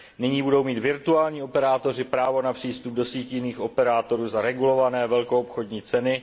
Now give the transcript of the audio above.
Nyní budou mít virtuální operátoři právo na přístup do sítí jiných operátorů za regulované velkoobchodní ceny.